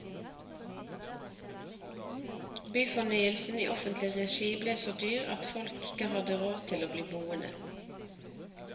Byfornyelsen i offentlig regi ble så dyr at folk ikke hadde råd til å bli boende.